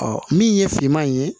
min ye finman in ye